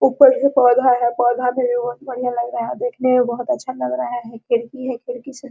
ऊपर है पौधा है पौधा में भी बहुत बढियाँ लग रहा है देखने में बहुत अच्छा लग रहा है खिड़की है खिड़की से --